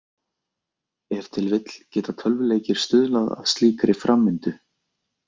Ef til vill geta tölvuleikir stuðlað að slíkri framvindu.